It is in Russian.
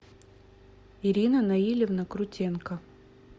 ирина наилевна крутенко